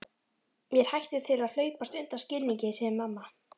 Mér hættir til að hlaupast undan skilningi, segir mamma.